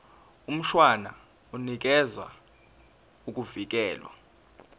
mshwana unikeza ukuvikelwa